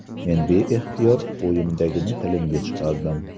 Men beixtiyor o‘yimdagini tilimga chiqardim.